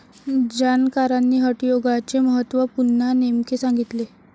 जाणकारांनी हटयोगाचे महत्व पुन्हा नेमके सांगितले.